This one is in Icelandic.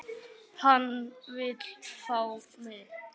Hann vill fá mig.